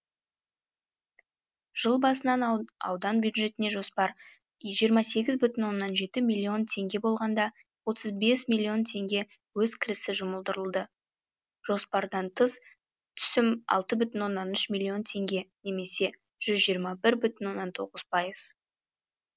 жыл басынан аудан бюджетіне жоспар жиырма сегіз бүтін оннан жеті миллион теңге болғанда отыз бес миллион теңге өз кірісі жұмылдырылды жоспардан тыс түсім алты бүтін оннан үш миллион теңге немесе жүз жиырма бір бүтін оннан тоғыз пайыз